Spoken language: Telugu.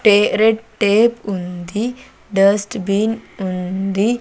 టె రెడ్ టేప్ ఉంది డస్ట్ బీన్ ఉంది.